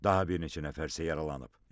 Daha bir neçə nəfər isə yaralanıb.